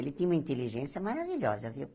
Ele tinha uma inteligência maravilhosa, viu?